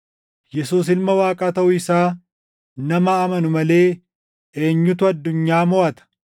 Yesuus Ilma Waaqaa taʼuu isaa nama amanu malee eenyutu addunyaa moʼata?